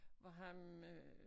Hvor ham øh